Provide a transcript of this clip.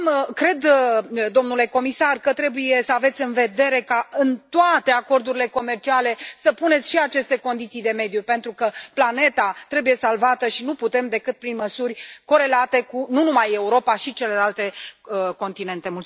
Cred, domnule comisar, că trebuie să aveți în vedere ca, în toate acordurile comerciale, să puneți și aceste condiții de mediu, pentru că planeta trebuie salvată și nu putem decât prin măsuri corelate nu numai cu Europa, ci și cu celelalte continente.